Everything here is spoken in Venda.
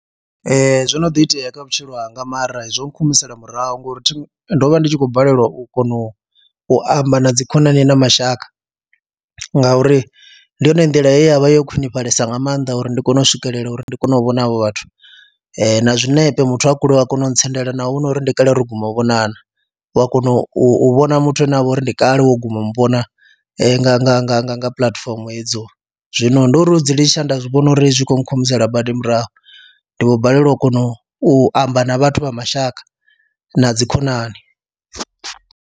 Ee, zwo no ḓi itea kha vhutshilo hanga mara hezwo nkhumisela murahu ngori thi, ndo vha ndi tshi khou balelwa u kona u u amba na dzi khonani na mashaka ngauri ndi yone nḓila ye ya vha yo khwinifhalesa nga maanḓa uri ndi kone u swikelela uri ndi kone u vhona avho vhathu na zwiṋepe muthu a kule u a kona u ntsendela naho hu uri ndi kale uri ro guma u vhonana, u a kona u vhona muthu ane ha vha uri ndi kale wo guma u mu vhona nga nga nga nga nga puḽatifomo hedzo, zwino ndi uri hu dzi litsha nda zwi vhona uri zwi khou nkhumisela badi murahu, ndi vho balelwa u kona u amba na vhathu vha mashaka na dzikhonani.